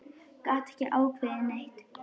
Gat ekki ákveðið neitt.